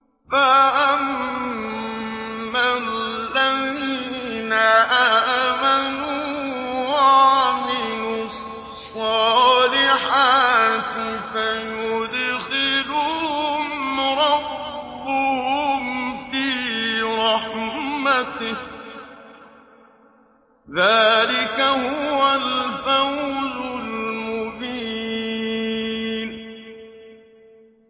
فَأَمَّا الَّذِينَ آمَنُوا وَعَمِلُوا الصَّالِحَاتِ فَيُدْخِلُهُمْ رَبُّهُمْ فِي رَحْمَتِهِ ۚ ذَٰلِكَ هُوَ الْفَوْزُ الْمُبِينُ